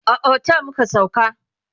a otel muka sauka